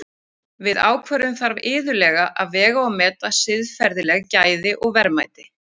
Við ákvörðun þarf iðulega að vega og meta siðferðileg gæði og verðmæti.